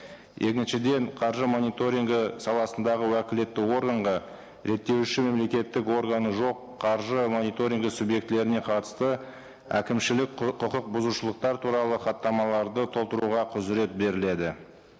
екіншіден қаржы мониторингі саласындағы уәкілетті органға реттеуші мемлекеттік органы жоқ қаржы мониторингі субъектілеріне қатысты әкімшілік құқық бұзушылықтар туралы хаттамаларды толтыруға құзырет беріледі